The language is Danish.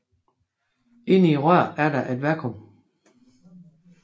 Inde i røret er der et vakuum